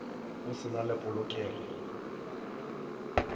go se na le polokelo